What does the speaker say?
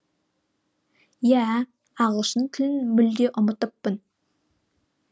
иә ағылшын тілін мүлде ұмытыппын